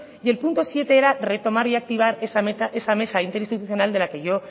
y el punto siete era retomar y activar esa mesa interinstitucional de la que yo